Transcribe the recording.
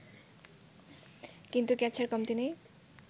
কিন্তু কেচ্ছার কমতি নেই